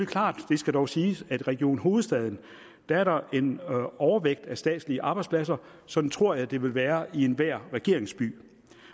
klart det skal dog siges at i region hovedstaden er der en overvægt af statslige arbejdspladser sådan tror jeg at det vil være i enhver regeringsby